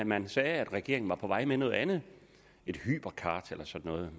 man sagde at regeringen var på vej med noget andet et hypercard eller sådan noget